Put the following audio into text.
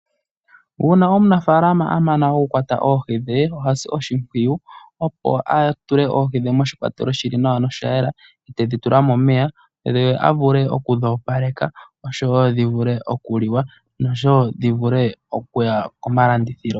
Uuna omunafaalama amana okukwata oohi dhe, ohasi oshimpwiyu opo atule oohi dhe moshikwatele shili nawa noshayela tedhitula momeya ye avule okudhopaleka osho wo dhivule okuliwa nosho wo dhivule okuya komalandithilo.